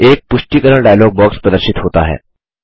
एक पुष्टिकरण dialogue box प्रदर्शित होता है